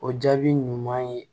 O jaabi ɲuman ye